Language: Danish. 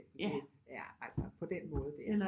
Altså på den måde der